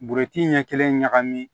Buruti ɲɛ kelen ɲagami